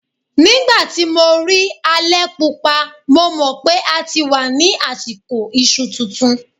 Nígbà tí mo rí alẹ̀-Pupa, mo mọ̀ PÉ a ti wà ní àsìkò iṣu tuntun.